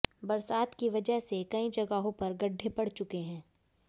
बरसात की वजह से कई जगहों पर गड्ढे पड़ चुके हैं